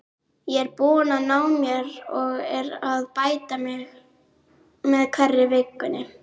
Ég er búinn að ná mér og er að bæta mig með hverri vikunni.